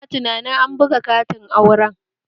Ina tunanin an buga katin auren